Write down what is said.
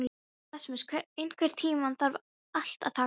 Rasmus, einhvern tímann þarf allt að taka enda.